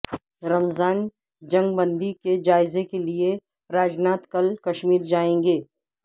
رمضا ن جنگ بندی کے جائزہ کے لئے راجناتھ کل کشمیر جائیں گے